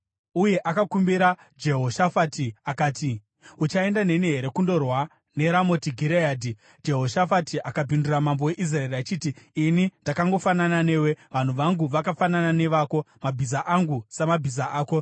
Uye akakumbira Jehoshafati akati, “Uchaenda neni here kundorwa neRamoti Gireadhi?” Jehoshafati akapindura mambo weIsraeri achiti, “Ini ndakangofanana newe, vanhu vangu vakafanana nevako, mabhiza angu samabhiza ako.”